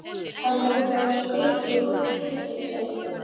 Þetta hús var eins og klippt út úr hryllingsmynd.